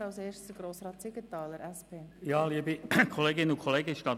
Ich erteile das Wort Grossrat Siegenthaler, der sich als Einzelsprecher gemeldet hat.